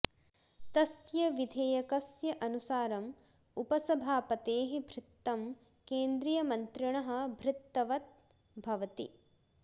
तस्य विधेयकस्य अनुसारम् उपसभापतेः भृत्तं केन्द्रियमन्त्रिणः भृत्तवत् भवति